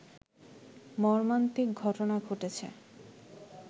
মর্মান্তিক ঘটনা ঘটেছে